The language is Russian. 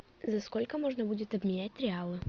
за сколько можно будет обменять реалы